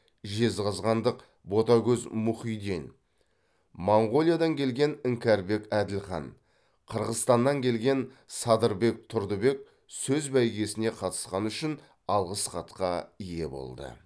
жезқазғандық ботагөз мұхиден моңғолиядан келген іңкәрбек әділхан қырғызстаннан келген садырбек тұрдыбек сөз бәйгесіне қатысқаны үшін алғыс хатқа ие болды